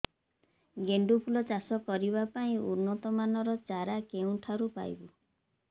ଗେଣ୍ଡୁ ଫୁଲ ଚାଷ କରିବା ପାଇଁ ଉନ୍ନତ ମାନର ଚାରା କେଉଁଠାରୁ ପାଇବୁ